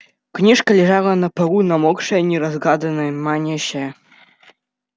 книжка лежала на полу намокшая неразгаданная манящая